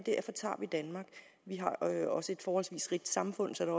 vi har også et forholdsvis rigt samfund så der